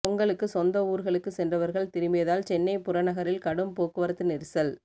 பொங்கலுக்கு சொந்த ஊர்களுக்கு சென்றவர்கள் திரும்பியதால் சென்னை புறநகரில் கடும் போக்குவரத்து நெரிசல்